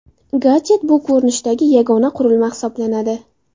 Gadjet bu ko‘rinishdagi yagona qurilma hisoblanadi.